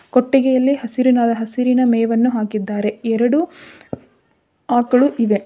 ಕೊಟ್ಟಿಗೆಯಲ್ಲಿ ಹಸಿರು ಹಸಿರಿನ ಮೇವನ್ನು ಹಾಕಿದ್ದಾರೆ ಎರಡು ಆಕಳು ಇವೆ.